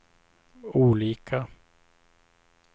olika